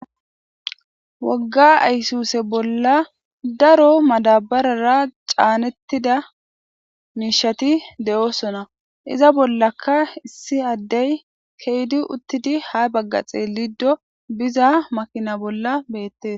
Wogga aysuse bolla daro madabarara caanettida miishati de7oosona iza bollaka issi addey keydi uttidi ha bagga xeelido biza makina bolla beettes.